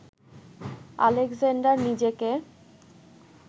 Alexander নিজেকে